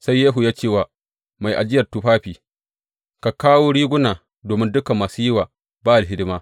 Sai Yehu ya ce wa mai ajiyar tufafi, Ka kawo riguna domin dukan masu yi wa Ba’al hidima.